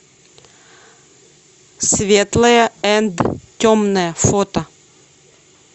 светлое энд темное фото